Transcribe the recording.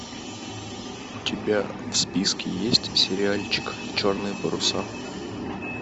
у тебя в списке есть сериальчик черные паруса